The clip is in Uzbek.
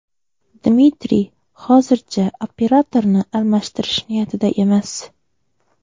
Dmitriy hozircha operatorni almashtirish niyatida emas.